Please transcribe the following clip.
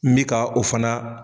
N bɛ ka o fana.